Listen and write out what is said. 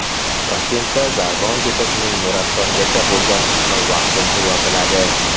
Toshkentda Sag‘bon ko‘chasining Nurafshongacha bo‘lgan qismi vaqtincha yopiladi.